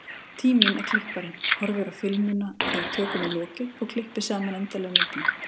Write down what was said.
Tíminn er klipparinn, horfir á filmuna þegar tökum er lokið og klippir saman endanlegu myndina.